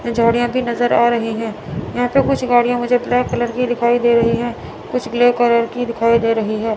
झाड़ियां भी नजर आ रही हैं यहां पे कुछ गाड़ियां मुझे ब्लैक कलर की दिखाई दे रही हैं कुछ ग्ले कलर की दिखाई दे रही है।